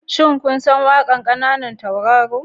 Shin kun san waƙar kananan tauraro?